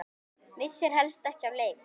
Missir helst ekki af leik.